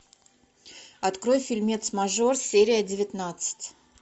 открой фильмец мажор серия девятнадцать